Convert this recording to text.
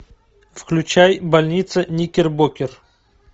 включай больница никербокер